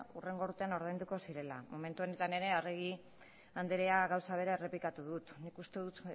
hurrengo urtean ordainduko zirela momentu honetan ere arregi andrea gauza bera errepikatu du nik uste dut